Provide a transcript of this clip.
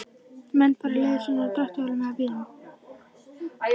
Menn fara leiðar sinnar á dráttarvélum eða bílum.